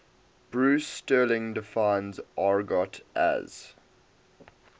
bruce sterling defines argot as